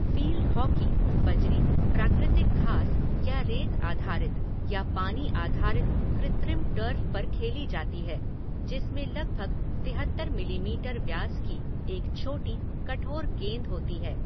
Field hockey बजरी, प्राकृतिक घास या रेत आधारित या पानी आधारित कृत्रिम टर्फ़ पर खेली जाती है जिसमें लगभग तिहत्तर मिलीमीटर व्यास की एक छोटी, कठोर गेंद होती है।